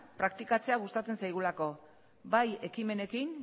praktikatzea gustatzen zaigula bai ekimenekin